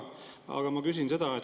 Aga ma küsin seda.